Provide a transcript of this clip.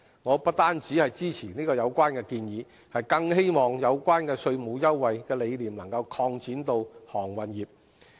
我不單支持有關建議，更希望有關稅務優惠的理念能擴展到航運業。